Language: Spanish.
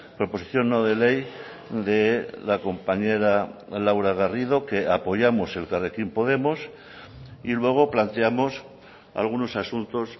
proposición no de ley de la compañera laura garrido que apoyamos elkarrekin podemos y luego planteamos algunos asuntos